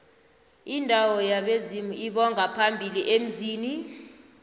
indawo yabezimu lbongaphambili emzini